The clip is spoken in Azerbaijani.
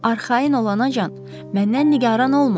Arxayın olanacan məndən nigaran olma.